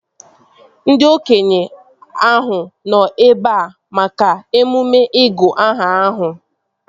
Ndị okenye ahụ nọ ebea maka emume ịgụ aha ahụ